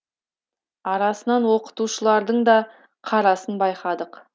арасынан оқытушылардың да қарасын байқадық